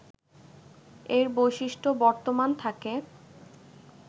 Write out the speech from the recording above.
এর বৈশিষ্ট্য বর্তমান থাকে